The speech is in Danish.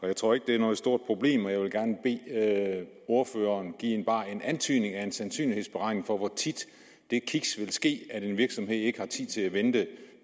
jeg tror ikke det er noget stort problem og jeg vil gerne bede ordføreren give bare en antydning af en sandsynlighed for hvor tit det kiks ville ske at en virksomhed ikke har tid til at vente